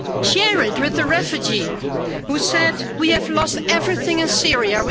Share it with the refugee who said we lost everything in Syria.